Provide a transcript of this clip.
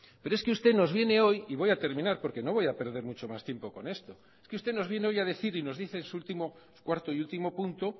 pero es que usted nos viene hoy y voy a terminar porque no voy a perder mucho más tiempo con esto es que usted nos viene hoy a decir y nos dice en su cuarto y último punto